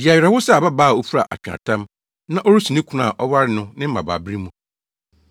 Di awerɛhow sɛ ababaa a ofura atweaatam na ɔresu ne kunu a ɔwaree no ne mmabaabere mu.